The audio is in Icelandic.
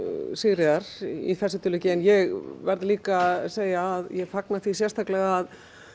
Sigríðar í þessu tilviki en ég verð líka að segja að ég fagna því sérstaklega